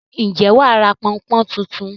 Ǹjẹ́ wà á ra pọn-n-pọ́n tuntun?